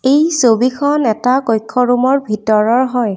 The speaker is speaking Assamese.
এই ছবিখন এটা কক্ষৰূম ৰ ভিতৰৰ হয়।